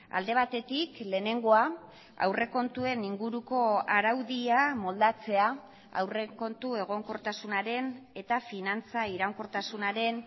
alde batetik lehenengoa aurrekontuen inguruko araudia moldatzea aurrekontu egonkortasunaren eta finantza iraunkortasunaren